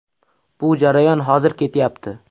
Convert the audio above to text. Bu jarayon hozir ketyapti.